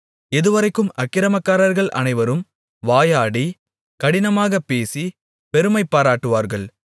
எதுவரைக்கும் அக்கிரமக்காரர்கள் அனைவரும் வாயாடி கடினமாகப் பேசி பெருமைபாராட்டுவார்கள்